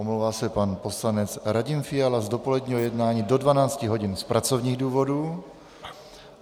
Omlouvá se pan poslanec Radim Fiala z dopoledního jednání do 12 hodin z pracovních důvodů.